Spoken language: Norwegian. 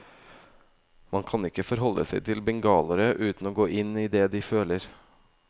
Man kan ikke forholde seg til bengalere uten å gå inn i det de føler.